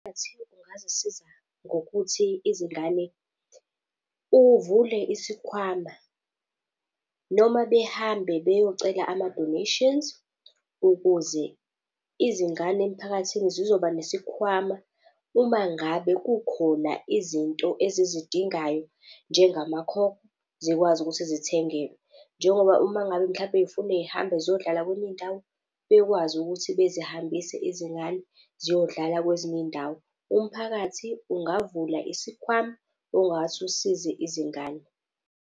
ungazisiza ngokuthi izingane uvule isikhwama noma behambe beyocela ama-donations ukuze izingane emphakathini zizoba nesikhwama uma ngabe kukhona izinto ezizidingayo, njengamakhokho zikwazi ukuthi zithengelwe. Njengoba uma ngabe mhlampe yifune y'hambe ziyodlala kwenye indawo, bekwazi ukuthi bezihambise izingane ziyodlala kwezinye iy'ndawo. Umphakathi ungavula isikhwama ongathi usize izingane.